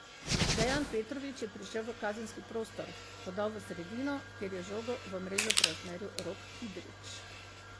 Dejan Petrovič je prišel v kazenski prostor, podal v sredino, kjer je žogo v mrežo preusmeril Rok Kidrič.